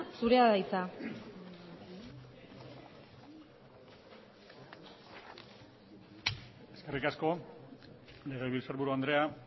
zurea da hitza eskerrik asko legebiltzarburu andrea